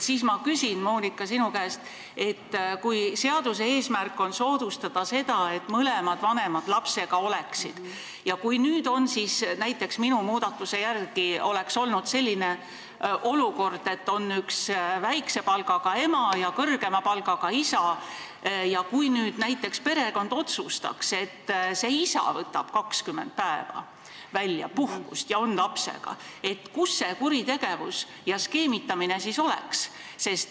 Ma küsin, Monika, sinu käest, et kui seaduse eesmärk on soodustada seda, et mõlemad vanemad lapsega oleksid, ja kui minu muudatuse järgi tekiks olukord, kus on väikse palgaga ema ja kõrgema palgaga isa ja perekond otsustab, et isa võtab 20 päeva puhkust välja ja on lapsega, siis kus see kuritegevus ja skeemitamine oleks.